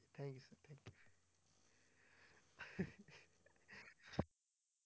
Thank you sir